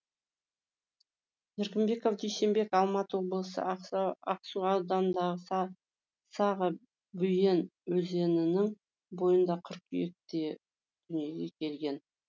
еркінбеков дүйсенбек алматы облысы ақсу ауданындағы саға бүйен өзенінің бойында қыркүйекте дүниеге келген